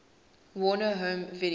warner home video